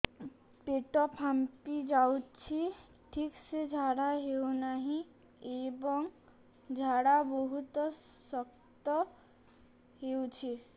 ପେଟ ଫାମ୍ପି ଯାଉଛି ଠିକ ସେ ଝାଡା ହେଉନାହିଁ ଏବଂ ଝାଡା ବହୁତ ଶକ୍ତ ହେଉଛି